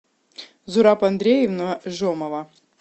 зураб андреевна жомова